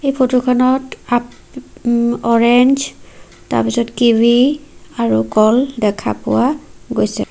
এই ফটো খনত আপ উম্ অ'ৰেঞ্জ তাৰ পিছত কিৱি আৰু কল দেখা পোৱা গৈছে।